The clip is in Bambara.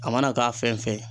A mana k'a fɛn fɛn ye.